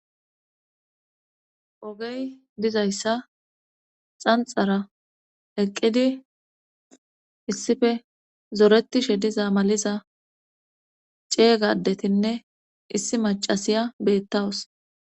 Ogey dizayssa xanxara eqqidi issife zoretishe diza maliza ceeygadetinne issi macasiya beettawus.